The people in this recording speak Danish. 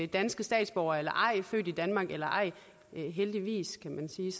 danske statsborgere født i danmark eller ej heldigvis kan man sige